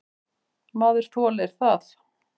Maður þolir það.